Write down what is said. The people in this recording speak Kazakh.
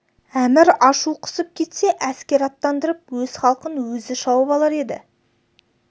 әмір ашу қысып кетсе әскер аттандырып өз халқын өзі шауып алар еді